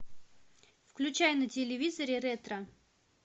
включай на телевизоре ретро